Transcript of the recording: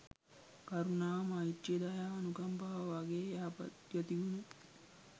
කරුණාව, මෛත්‍රිය, දයාව අනුකම්පාව වගේ යහපත් ගතිගුණ